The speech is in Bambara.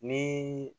Ni